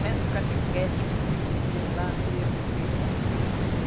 Centro Catequético, que tem lá, foi eu que fiz.